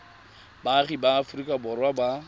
baagi ba aforika borwa ba